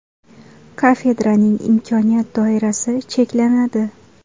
Kafedraning imkoniyat doirasi cheklanadi.